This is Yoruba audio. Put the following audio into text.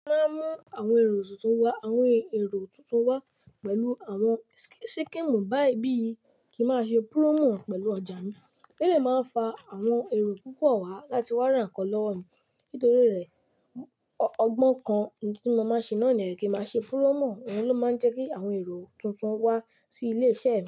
Wa mú àwọn èrò tuntun wá, àwọn èrò tuntun wá pẹ̀lú àwọn si síkẹ́èmù. Báyìí bí i kí má ṣe promò pẹ̀lú ọjà mi. In le máa fa àwọn èrò púpọ̀ wá láti wá ran nkan lọ́ wo mi. Nítorí rẹ̀, o ọgbọ́n kan tí mo máa ń ṣe náà ni ẹni kí má ṣe púrọ́mò. Òun ló máa ń jẹ́ kí àwọn èrò tuntun wá sí ilé-iṣẹ́ mi.